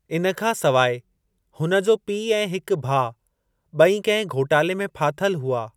इन खां सवाइ, हुन जो पीउ ऐं हिक भाउ ॿई कंहिं घोटाले में फाथल हुआ।